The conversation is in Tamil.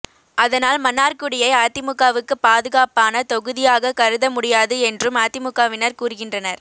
அதனால் மன்னார்குடியை அதிமுகவுக்கு பாதுகாப்பான தொகுதியாக கருத முடியாது என்றும் அதிமுகவினர் கூறுகின்றனர்